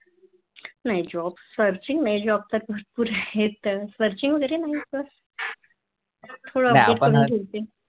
नाही Job searching नाही Job तर भरपूर आहे तर Seaching म्हणजे थोड Update करून ठेवते नाही आपण